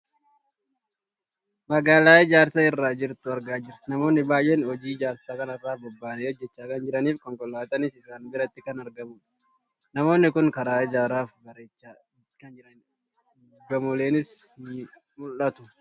Magaalaa ijaarsa irra jirtu argaa jirra. Namoonni baayyeen hojii ijaarsaa kanarraa bobbahanii hojjachaa kan jiraniifi konkolaataanis isaan biratti kan argamudha. Namoonni kun karaa ijaaraa fi bareechaa kan jiranidha. Gamooleenis ni mul'atu.